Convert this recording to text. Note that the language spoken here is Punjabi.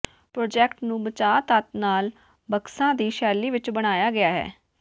ਪ੍ਰਾਜੈਕਟ ਨੂੰ ਬਚਾਅ ਤੱਤ ਨਾਲ ਬਕਸਾ ਦੀ ਸ਼ੈਲੀ ਵਿਚ ਬਣਾਇਆ ਗਿਆ ਹੈ